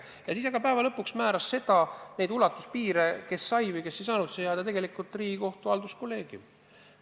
Aga lõpuks määras need piirid, kes sai ja kes ei saanud siia jääda, tegelikult Riigikohtu halduskolleegium.